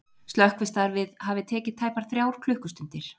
Slökkvistarfið hafi tekið tæpar þrjár klukkustundir